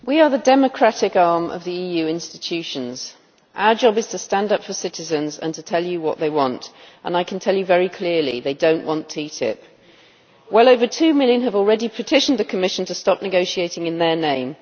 Madam President, we are the democratic arm of the EU institutions. Our job is to stand up for citizens and to tell you what they want, and I can tell you very clearly they do not want TTIP. Well over 2 million have already petitioned the Commission to stop negotiating in their name.